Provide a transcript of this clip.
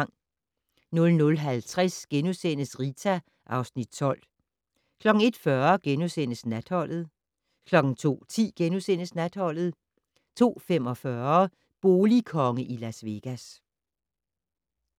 00:50: Rita (Afs. 12)* 01:40: Natholdet * 02:10: Natholdet * 02:45: Boligkonge i Las Vegas